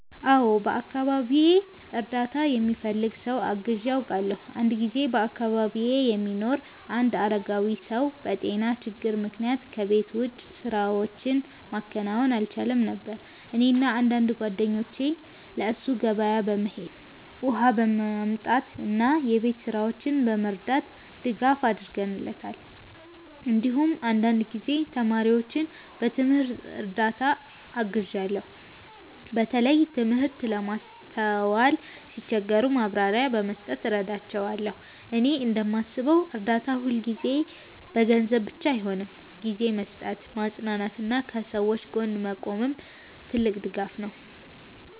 አዎ፣ በአካባቢዬ እርዳታ የሚፈልግ ሰው አግዤ አውቃለሁ። አንድ ጊዜ በአካባቢዬ የሚኖር አንድ አረጋዊ ሰው በጤና ችግር ምክንያት ከቤት ውጭ ስራዎችን ማከናወን አልቻለም ነበር። እኔና አንዳንድ ጓደኞቼ ለእሱ ገበያ በመሄድ፣ ውሃ በማምጣት እና የቤት ስራዎችን በመርዳት ድጋፍ አድርገንለታል። እንዲሁም አንዳንድ ጊዜ ተማሪዎችን በትምህርት እርዳታ አግዣለሁ፣ በተለይ ትምህርት ለማስተዋል ሲቸገሩ ማብራሪያ በመስጠት እረዳቸዋለሁ። እኔ እንደማስበው እርዳታ ሁልጊዜ በገንዘብ ብቻ አይሆንም፤ ጊዜ መስጠት፣ ማጽናናት እና ከሰዎች ጎን መቆምም ትልቅ ድጋፍ ነው።